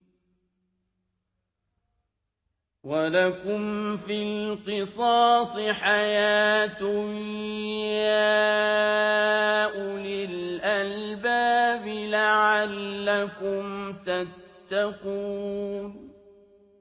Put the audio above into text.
وَلَكُمْ فِي الْقِصَاصِ حَيَاةٌ يَا أُولِي الْأَلْبَابِ لَعَلَّكُمْ تَتَّقُونَ